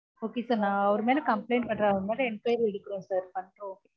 okay sir நான் அவர் மேல complaint பண்றேன் அவரு மேல enquiry எடுக்குறோம் sir